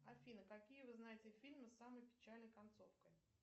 афина какие вы знаете фильмы с самой печальной концовкой